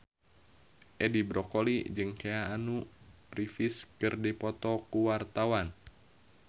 Edi Brokoli jeung Keanu Reeves keur dipoto ku wartawan